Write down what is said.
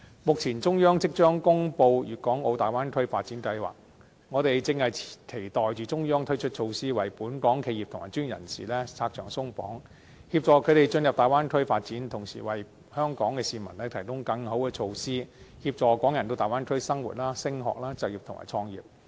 目前中央即將公布粵港澳大灣區發展規劃，我們正期待中央推出措施，為本港企業及專業人士拆牆鬆綁，協助他們進入大灣區發展，同時為香港的市民提供更好的措施，協助港人到大灣區生活、升學、就業及創業。